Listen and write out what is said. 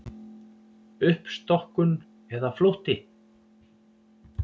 Uppstokkun eða flótti?